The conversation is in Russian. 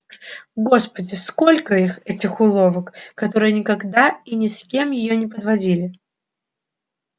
господи сколько их этих уловок которые никогда и ни с кем её не подводили